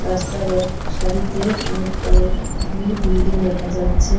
রাস্তার এক সারিতে অনেক কয়েলগুলি বিল্ডিং দেখা যাচ্ছে।